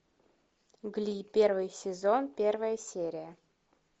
угли первый сезон первая серия